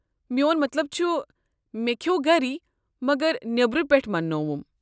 میون مطلب چھُ، مے٘ كھیو گری مگر نیبرٕ پیٹھہٕ انٛنووُم۔